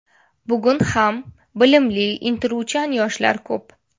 Bugun ham bilimli, intiluvchan yoshlar ko‘p.